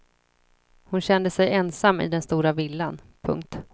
Hon kände sig ensam i den stora villan. punkt